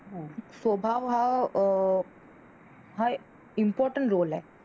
स्वभाव हा आह हा important role आहे.